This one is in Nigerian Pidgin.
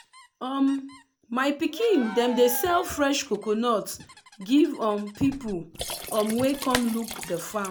um my pikin dem dey sell fresh coconut give um people um wey come look the farm.